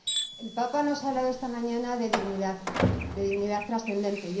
El Papa nos ha hablado esta mañana de dignidad, de dignidad trascendente.